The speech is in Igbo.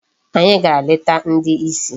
Anyị gara leta ndị isi